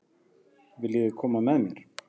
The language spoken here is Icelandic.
Viljiði koma með mér?